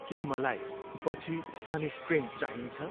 के मलाई पछि सनस्क्रिन चाहिन्छ?